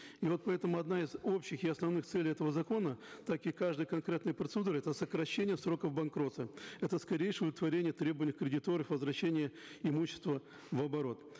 и вот поэтому одна из общих и основных целей этого закона так и каждой конкретной процедуры это сокращение сроков банкротства это скорейшее удовлетворение требований кредиторов возвращение имущества в оборот